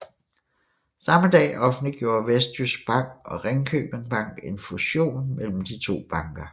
Samme dag offentliggjorde Vestjysk Bank og Ringkjøbing Bank en fusion mellem de to banker